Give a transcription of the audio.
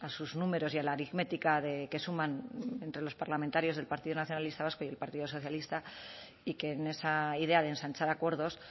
sus números y a la aritmética de que suman entre los parlamentarios del partido nacionalista vasco y el partido socialista y que en esa idea de ensanchar acuerdos